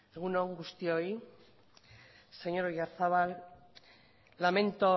eskerrik asko egun on guztioi señor oyarzabal lamento